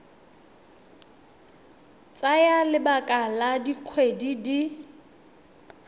tsaya lebaka la dikgwedi di